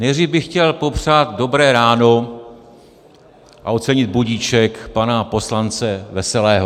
Nejdříve bych chtěl popřát dobré ráno a ocenit budíček pana poslance Veselého.